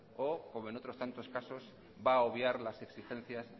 o como en otros tantos casos va a obviar las exigencias